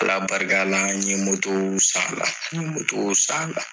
Ala barika la n ye mɔto san a la n ye mɔto san a la